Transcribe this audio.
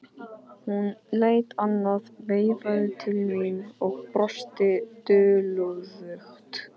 Hún leit annað veifið til mín og brosti dulúðugt.